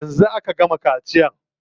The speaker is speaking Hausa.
Yanzu aka gama kaciya.